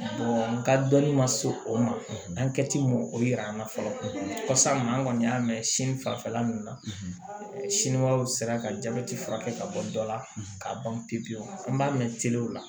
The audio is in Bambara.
n ka dɔnni ma se o ma an kɛ ti mɔ o yira an na fɔlɔ ka sa ma an kɔni y'a mɛn sin fanfɛla ninnu na siniwaw sera ka jabɛti furakɛ ka bɔ dɔ la k'a ban pewu an b'a mɛn telew la